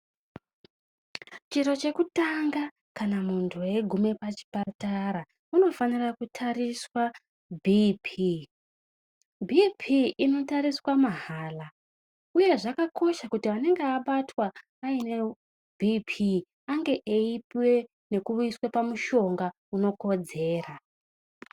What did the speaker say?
Chiro chekutanga kana munhu eigume pachipatara unofanire kutariswa BP,Bp inotariswa mahala uye zvakakosha kuti anenge abatwa aine Bp ange eipuwe nekuiswe pamushonga unokodzera.